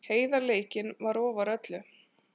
Heiðarleikinn var ofar öllu.